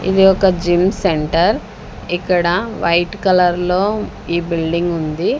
ఇది ఒక gym centre ఇక్కడ వైట్ కలర్లో ఈ బిల్డింగుంది ఉంది.